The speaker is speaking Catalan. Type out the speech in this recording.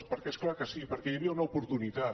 perquè és clar que sí perquè hi havia una oportunitat